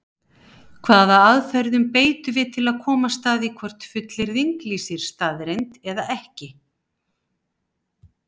Hvaða aðferð beitum við til að komast að því hvort fullyrðing lýsir staðreynd eða ekki?